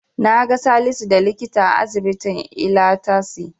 Naga Salisu da likita a asibitin Ilatasi.